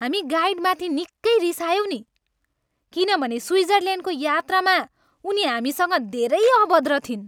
हामी गाइडमाथि निकै रिसायौँ नि किनभने स्विजरल्यान्डको यात्रामा उनी हामीसँग धेरै अभद्र थिइन्।